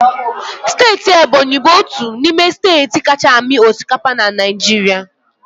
Steeti Ebonyi bụ otu n'ime steeti kacha amị osikapa na Naịjirịa.